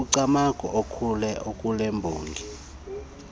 umcamango okule mbongi